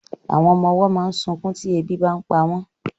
Àwọn ọmọ ọwọ́ máa ń sunkún tí ebi bàa ń pa wọn